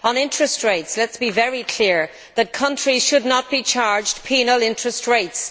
On interest rates let us be very clear that countries should not be charged penal interest rates.